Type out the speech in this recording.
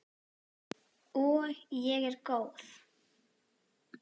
Og ég er góð.